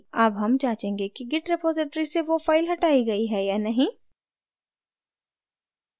अब हम जांचेंगे कि git repository से now फाइल हटाई git है या नहीं